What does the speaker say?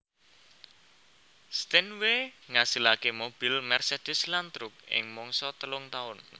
Steinway ngasilake mobil Mercedes lan truk ing mangsa telung taun